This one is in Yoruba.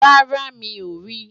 rárá, mi ò rí i